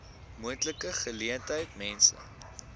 moontlike geleentheid mense